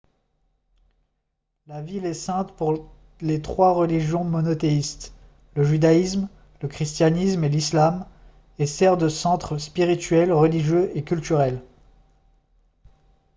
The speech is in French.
la ville est sainte pour les trois religions monothéistes le judaïsme le christianisme et l'islam et sert de centre spirituel religieux et culturel